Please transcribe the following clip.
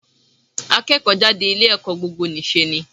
Akẹ́kọ̀ọ́ jáde ilé ẹ̀kọ́ gbogbo nì ṣe ni.